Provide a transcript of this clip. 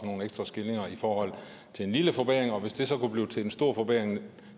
nogle ekstra skillinger til en lille forbedring hvis det så kunne blive til en stor forbedring